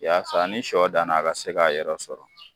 Yaasa ni sɔ danna a ka se k'a yɛrɛ sɔrɔ